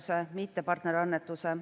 Laekusid 38 organisatsiooni arvamused.